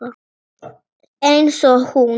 Einsog hún.